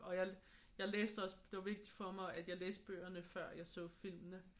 Og jeg jeg læste også det var vigtigt for mig at jeg læste bøgerne før jeg så filmene